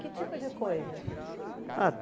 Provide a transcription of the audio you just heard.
Que tipo de coisas? Ah